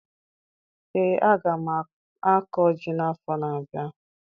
Ee, aga m akọ ji n'afọ na-abịa